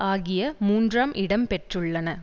ஆகிய மூன்றாம் இடம்பெற்றுள்ளன